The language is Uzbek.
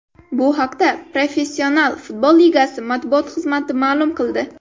Bu haqda Professional futbol ligasi matbuot xizmati ma’lum qildi .